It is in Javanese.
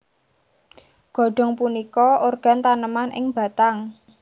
Godong punika organ taneman ing batang